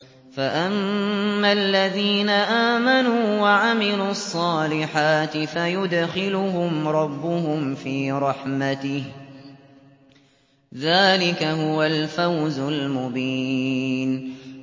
فَأَمَّا الَّذِينَ آمَنُوا وَعَمِلُوا الصَّالِحَاتِ فَيُدْخِلُهُمْ رَبُّهُمْ فِي رَحْمَتِهِ ۚ ذَٰلِكَ هُوَ الْفَوْزُ الْمُبِينُ